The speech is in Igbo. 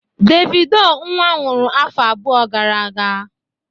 Davido nwa nwụrụ afọ abụọ gara aga